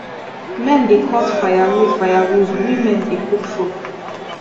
men dey cut firewood firewood women dey cook food